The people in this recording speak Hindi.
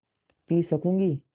पी सकँूगी